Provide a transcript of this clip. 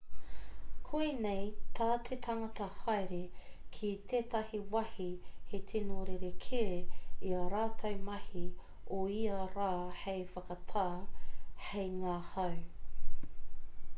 koinei tā te tangata haere ki tētahi wāhi he tino rerekē i ā rātou mahi o ia rā hei whakatā hei ngahau